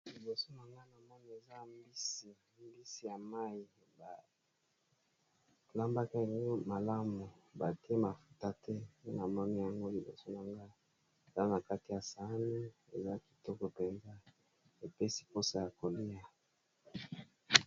Liboso na nga na mani eza mbisi ya mai balambaka eni malamu bate mafuta te na moni yango liboso naga eza na kaka ya sane eza kitoko mpenza epesi mposa ya kolia.